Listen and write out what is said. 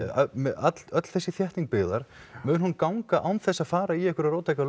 öll öll þessi þétting byggðar mun hún ganga án þess að fara í einhverjar róttækar